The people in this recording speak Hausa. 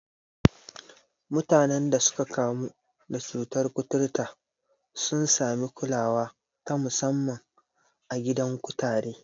Mutanen da suka kamu da cutar kuturta sun sami kulawa ta musamman a gidan kutare.